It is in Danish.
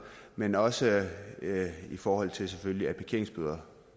men også i forhold til selvfølgelig parkeringsbøder